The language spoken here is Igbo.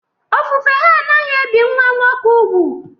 Ofufe ha anaghị ebi nwa nwoke úgwù